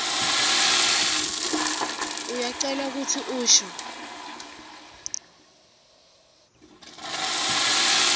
uyacelwa kutsi usho